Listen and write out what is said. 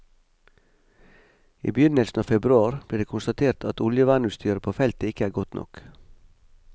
I begynnelsen av februar ble det konstatert at oljevernutstyret på feltet ikke er godt nok.